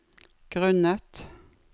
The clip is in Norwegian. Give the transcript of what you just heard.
grunnet